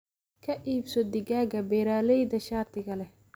Ka iibso digaagga beeralayda shatiga leh.